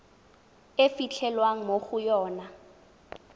e fitlhelwang mo go yona